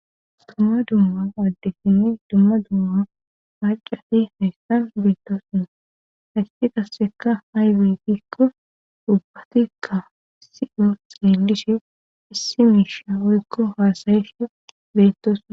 Dumma dumma addefini dumma dumma hacati haystan beettosuna hakii kasseka hayditikko dubbatikka si'o xeelishe issi miisha oykko haasayef beettosua.